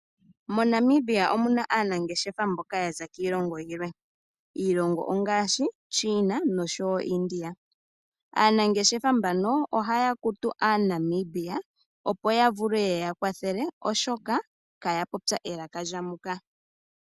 MoNamibia omuna aanangeshefa mboka ya za kiilongo yilwe. Iilongo ongaashi China noshowo India. Aanangeshefa mbano ohaya kutu aaNamibia opo ya vule ye ya kwathele oshoka kaya popya elaka lya muka.